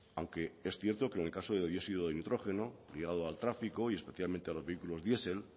aunque es cierto que en el caso de dióxido de nitrógeno ligado al tráfico y especialmente a los vehículos diesel